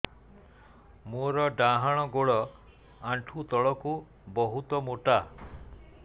ମୋର ଡାହାଣ ଗୋଡ ଆଣ୍ଠୁ ତଳୁକୁ ବହୁତ ମୋଟା